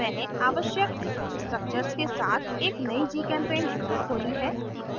मैंने आवश्यक structures के साथ एक नयी gchempaint window खोली है